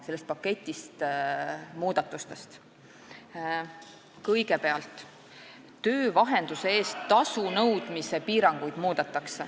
Kõigepealt muudetakse töövahenduse eest tasu nõudmise piiranguid.